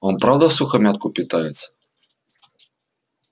он правда всухомятку питается